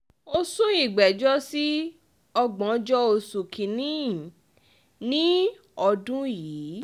ó sún ìgbẹ́jọ́ sí ògbóńjọ oṣù kín-ín-ní ọdún yìí